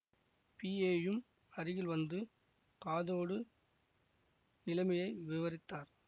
பிஏயும் அருகில் வந்து காதோடு நிலைமையை விவரித்தார்